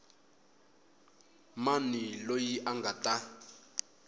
mani loyi a nga ta